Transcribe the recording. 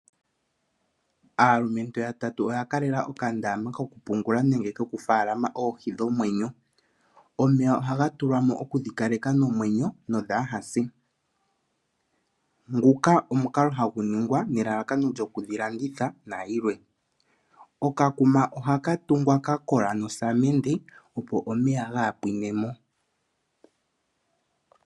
Aalumentu yatatu oya kalela okandaama kokupungula nenge kokufalama oohi dhomwenyo. Omeya ohaga tulwa mo okudhi kaleka nomwenyo no dhaa ha se. Nguka omukalo hagu ningwa nelalakano lyoku dhi landitha nayilwe. Okakuma ohala tungwa ka kola nosamende opo omeya gaa pwinemo.